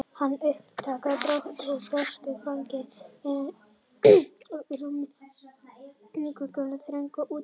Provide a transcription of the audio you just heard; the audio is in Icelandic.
Hann uppgötvar brátt að bresk fangelsi eru einsog völundarhús, rúm inngöngu en þröng útgöngu